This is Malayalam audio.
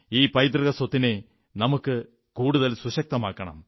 ഈ പൈതൃകസ്വത്തിനെ നമുക്ക് കൂടുതൽ സുശക്തമാക്കണം